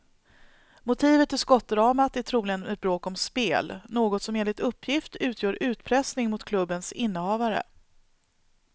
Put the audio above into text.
Motivet till skottdramat är troligen ett bråk om spel, något som enligt uppgift utgör utpressning mot klubbens innehavare.